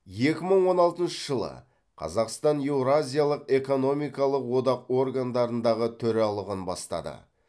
екі мың он алтыншы жылы қазақстан еуразиялық экономикалық одақ органдарындағы төралығын бастады